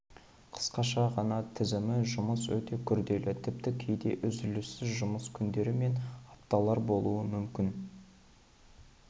қысқаша ғана тізімі жұмыс өте күрделі тіпті кейде үзіліссіз жұмыс күндері мен апталар болуы мүмкін